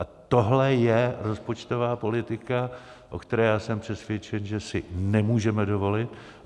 A tohle je rozpočtová politika, o které jsem přesvědčen, že si nemůžeme dovolit.